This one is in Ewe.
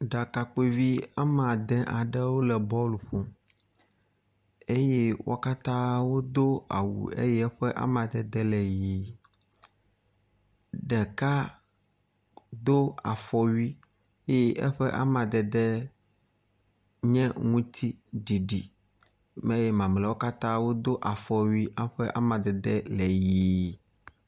ɖakakpuivi amadē aɖewo le bɔl ƒom eye wó katã wodó awu eye eƒe amadede le yi ɖeka dó afɔwui ye eƒe amadede nye ŋutiɖiɖi eye mamleawo katã wó dó afɔwui aƒe amadede le ɣi